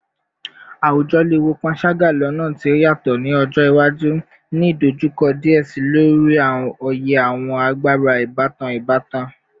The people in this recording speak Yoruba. Awujọ le wo panṣaga lọna ti o yatọ ni ọjọ iwaju, ni idojukọ diẹ sii lori oye awọn agbara ibatan ibatan